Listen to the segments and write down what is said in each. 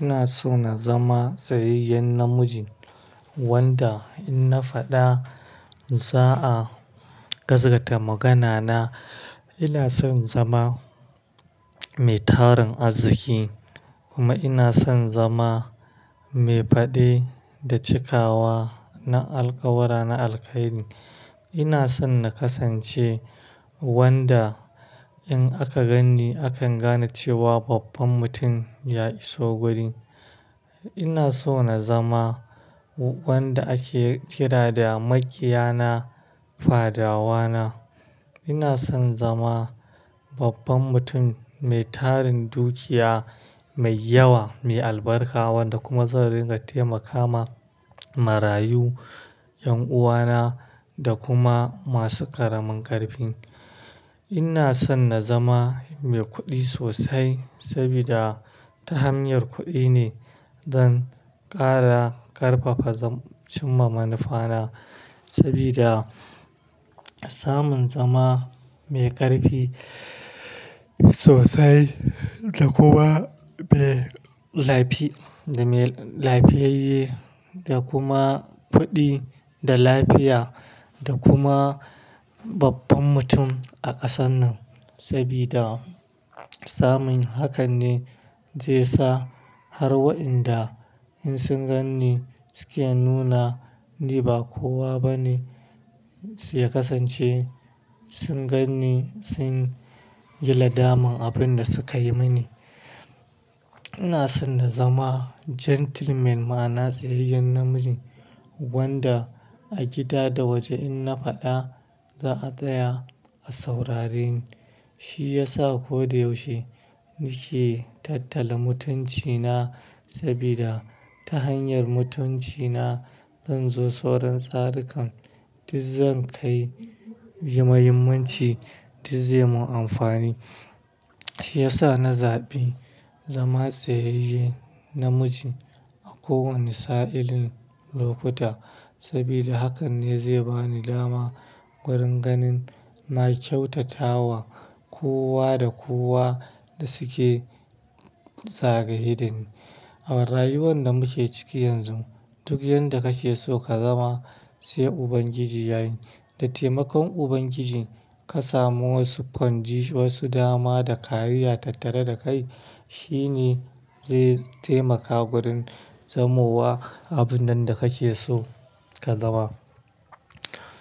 Ina so na zama tsayayyen namiji wanda in na faɗa za a gaskata magana na. Ina son zama mai tarin arziki kuma ina son zama mai faɗe da cikawa na alƙawura, na alkhairi. Ina son na kasance wanda in aka gani akan gane cewa babban mutum ya iso guri. Ina so na zama wanda ake kira da makiyana, fadawana. Ina son zama babban mutum mai tarin dukiya mai yawa, mai albarka wanda kuma zan ringa taimaka ma marayu, 'yan uwana da kuma masu ƙaramin ƙarfin. Ina son na zama mai kuɗi sosai saboda ta hanyar kuɗi ne zan ƙara ƙarfafa cimma manufana saboda samun zama mai ƙarfi sosai da kuma mai lafi-- da mai lafiyayye da kuma kuɗi da lafiya da kuma babban mutum a ƙasar nan saboda samun hakan ne zai sa har wa'inda in sun gan ni suke nuna ni ba kowa ba ne s-- ya kasance. Sun gan ni sun yil adaman abin da su kai mini. Ina son na zama gentleman ma'ana tsayayyen namiji wanda a gida da waje in na faɗa za a tsaya a saurare ni. Shi ya sa ko da yaushe nake tattala mutuncina saboda ta hanyar mutuncina zan zo sauran tsarikan, duk zan kai muhimmanci duk zai mun amfani. Shi ya sa na zaɓi zama tsayayye namiji a kowane sa'illin lokuta saboda hakan ne zai bani dama gurin ganin na kyautata wa kowa da kowa da suke zagaye ni. A rayuwar da muke ciki yanzu duk yanda kake so ka zama sai Ubangiji yayi. Da taimakon Ubangiji ka samu wasu ƙwanji, wasu dama da kariya tattare da kai shi ne zai taimaka gurin zamowa abun nan da kake so ka zama.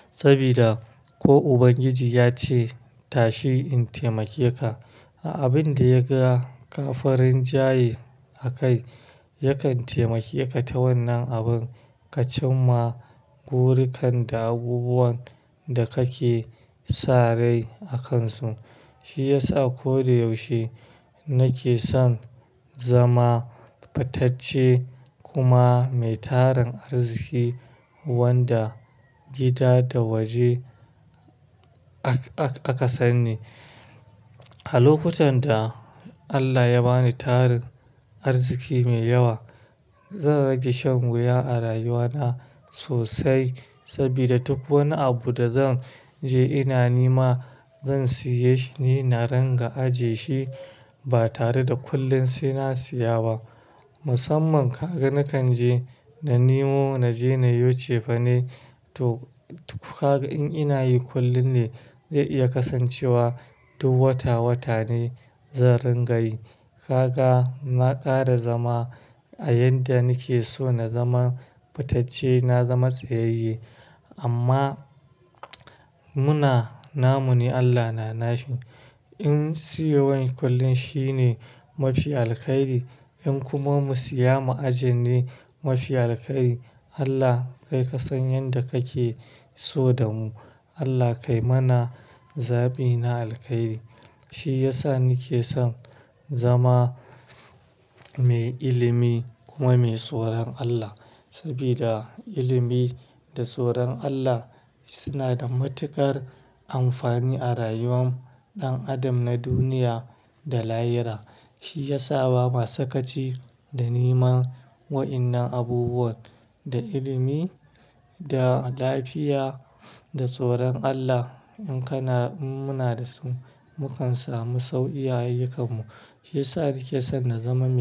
Saboda ko Ubangiji ya ce "tashi in taimake ka" a abin da ya ga ƙafirin jayye a kai yakan taimake ka ta wannan abun ka cimma burinkan da abubuwan da kake sare a kansu. Shi ya sa ko da yaushe nake son zama fitacce kuma mai tarin arziki wanda gida da waje aka, aka san ni. A lokutan da Allah ya bani tarin arziki mai yawa zan rage shan wuya a rayuwa na sosai saboda duk wani abu da zan je ina nima zan siya shi ne na ringa aje shi ba tare da kullin sai na siya ba. Musamman ka ga nakan je na nemo na je na yoce fa ne to ka in nayi kullin ne zai iya kasancewa duk wata, wata ne zan ringa yi. Ka ga na ƙara zama a yanda nake so na zama fitacce, na zama tsayayye amma muna namun ne Allah na nashi. In siyo wani kullin shi ne mafi alkhairi in kuma mu siya ma'ajin ne mafi alkhairi. Allah kai ka san yanda kake so da mu. Allah kai mana zabi na alkhairi. Shi ya sa nake son zama mai ilimi kuma mai tsoron Allah saboda ilimi da tsoron Allah suna da matuƙar amfani a rayuwan ɗan adam na duniya da lahiyra. Shi yasa bama sakaci da niman wa'innan abubuwan da ilimi da lafiya da tsoron Allah in kana, in muna da su mukan samu sau iya ayyukanmu. Shi ya sa nake son na zama mai.